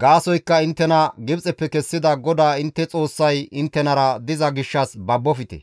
gaasoykka inttena Gibxeppe kessida GODAA intte Xoossay inttenara diza gishshas babbofte.